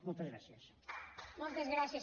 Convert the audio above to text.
moltes gràcies